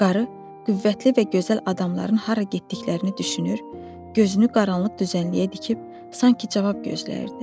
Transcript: Qarı qüvvətli və gözəl adamların hara getdiklərini düşünür, gözünü qaranlıq düzənliyə dikib sanki cavab gözləyirdi.